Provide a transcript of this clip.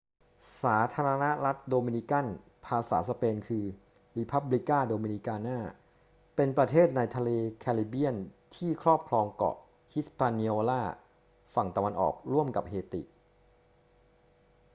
สาธารณรัฐโดมินิกัน ภาษาสเปน คือ república dominicana เป็นประเทศในทะเลแคริบเบียนที่ครอบครองเกาะ hispaniola ฝั่งตะวันออกร่วมกับเฮติ